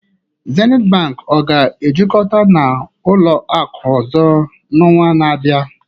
Zenith Bank ọ ga-ejikọta na ụlọ akụ ọzọ n'ọnwa na-abịa?